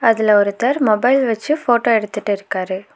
அதுல ஒருத்தர் மொபைல் வச்சு ஃபோட்டோ எடுத்துட்டு இருக்காரு.